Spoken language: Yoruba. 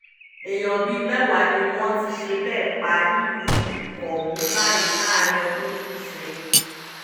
èèyàn bíi mẹ́wàá ni wọ́n ti ṣe bẹ́ẹ̀ pa nílùú ohun báyìí láàrin ọdún méjì sẹ́yìn